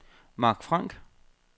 Marc Frank